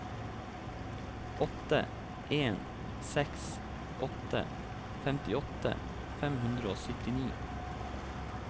åtte en seks åtte femtiåtte fem hundre og syttini